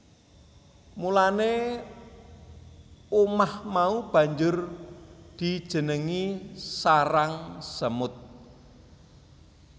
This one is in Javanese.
Mulane umah mau banjur dijenengi sarang semut